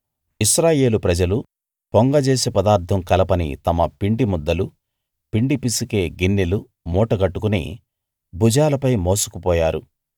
ఇశ్రాయేలు ప్రజలు పొంగజేసే పదార్థం కలపని తమ పిండి ముద్దలు పిండి పిసికే గిన్నెలు మూటగట్టుకుని భుజాలపై మోసుకు పోయారు